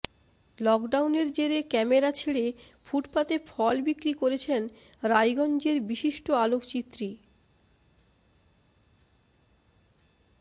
লকডাউনের জেরে ক্যামেরা ছেড়ে ফুটপাতে ফল বিক্রি করছেন রায়গঞ্জের বিশিষ্ট আলোকচিত্রী